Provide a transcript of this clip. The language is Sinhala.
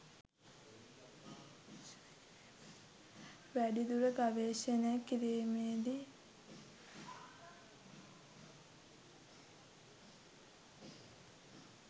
වැඩිදුර ගවේෂණය කිරීමේදි